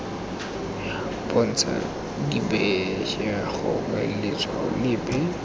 bontsha dibetšhe gongwe letshwao lepe